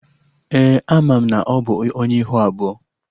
Ee, ana m na ọ bụ Onye ihu abụọ